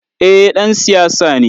Eh ,ɗan siyasa ne.